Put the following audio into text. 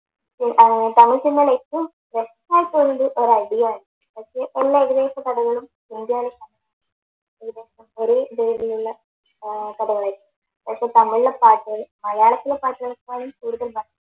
ഏർ തമിഴ് സിനിമയിൽ ഏറ്റവും ഒരു അടിയാണ് പക്ഷെ അഭിനയിച്ച പടങ്ങളും ഒരേ പേരിലുള്ള ഏർ പടങ്ങളായിരിക്കും പക്ഷെ തമിഴിലെ പാട്ടുകൾ മലയാളത്തിലെ പാട്ടുകളെക്കാളും കൂടുതൽ